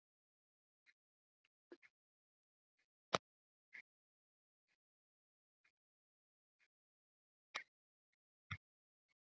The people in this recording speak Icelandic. markmið meðferðarinnar er að koma í veg fyrir stirðnun